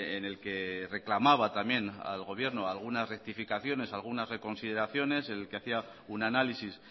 en el que reclamaba también al gobierno algunas rectificaciones algunas reconsideraciones en el que hacía un análisis